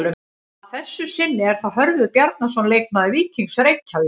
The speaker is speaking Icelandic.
Að þessu sinni er það Hörður Bjarnason leikmaður Víkings Reykjavík.